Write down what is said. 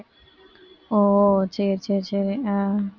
ஓ சரி சரி அஹ்